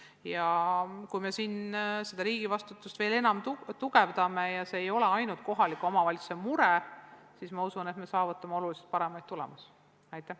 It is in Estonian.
Ma usun, et kui me riigi vastutust veel enam tugevdame – see ei ole ainult kohaliku omavalitsuse mure –, siis me saavutame oluliselt paremaid tulemusi.